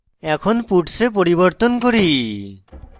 এখন puts এ পরিবর্তন করি